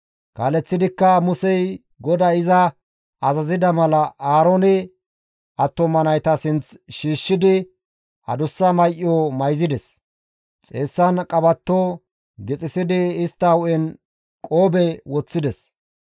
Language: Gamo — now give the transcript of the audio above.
Kaaleththidikka Musey GODAY iza azazida mala Aaroone attuma nayta sinth shiishshidi adussa may7o mayzides; xeessan qabatto danccisidi istta hu7en qoobe woththides.